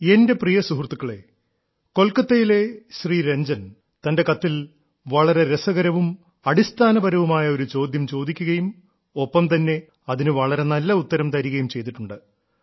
എന്റെ പ്രിയ സുഹൃത്തുക്കളേ കൊൽക്കത്തയിലെ ശ്രീ രഞ്ജൻ തന്റെ കത്തിൽ വളരെ രസകരവും അടിസ്ഥാനപരവുമായ ഒരു ചോദ്യം ചോദിക്കുകയും ഒപ്പം തന്നെ അതിന് വളരെ നല്ല ഉത്തരം തരികയും ചെയ്തിട്ടുണ്ട്